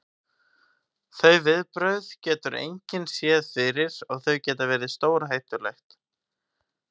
Þau viðbrögð getur engin séð fyrir og þau geta verið stórhættuleg.